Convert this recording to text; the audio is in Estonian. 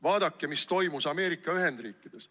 Vaadake, mis toimus Ameerika Ühendriikides.